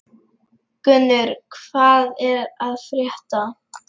Gunnur, hvað er að frétta?